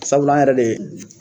Sabula an yɛrɛ de